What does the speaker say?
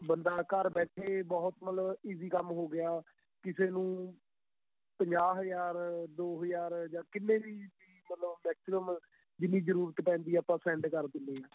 ਬੰਦਾ ਘਰ ਬੈਠੇ ਬਹੁਤ ਮਤਲਬ easy ਕੰਮ ਹੋ ਗਿਆ ਕਿਸੇ ਨੂੰ ਪੰਜਾਹ ਹਜ਼ਾਰ ਦੋ ਹਜ਼ਾਰ ਜਾਂ ਕਿੰਨੇ ਵੀ ਮਾਤ੍ਲਾਬ maximum ਜਿੰਨੀ ਜਰੂਰਤ ਪੈਂਦੀ ਏ ਆਪਾਂ send ਕਰ ਦਿੰਨੇ ਹਾਂ